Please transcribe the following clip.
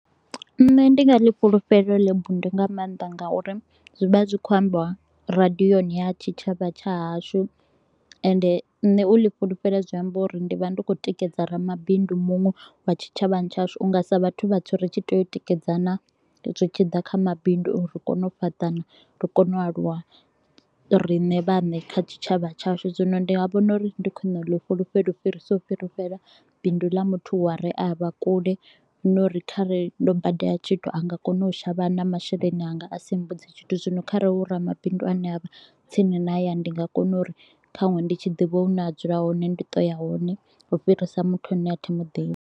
Nṋe ndi nga ḽi fhulufhela heḽo bindu nga mannḓa nga uri zwi vha zwi kho u ambiwa radioni ya tshitshavha tsha hashu ende ṋne u ḽi fhulufhela zwi amba uri ndi vha ndi khou tikedza ramabindu muṅwe wa tshitshavhani tsha hashu. U nga sa vhathu vhatswu ri tshi tea u tikedzana zwi tshi ḓa kha mabindu uri ri kone u fhaṱana, ri kone u aluwa riṋe vhaṋe kha tshitshavha tshashu. Zwino ndi nga vhona uri ndi khwine u ḽi fhulufhela u fhirisa u fhulufhela bindu ḽa muthu wa re a vha kule nga uri kha re ndo badela tshithu a nga kona u shavha na masheleni anga a si mbudze tshithu. Zwino kharali hu ramabindu a ne a vha tsini na hayani ndi nga kona uri ṱhanwe ndi tshi ḓivha hune a dzula hone ndi to u ya hone u fhirisa muthu a ne a thimu ḓivhi.